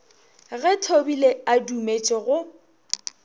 ge thobile a dumetše go